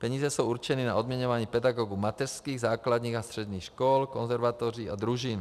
Peníze jsou určeny na odměňování pedagogů mateřských, základních a středních škol, konzervatoří a družin.